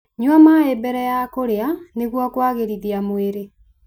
Nyua maĩ mbere ya kũrĩa nĩguo kwagĩrithia mwĩrĩ.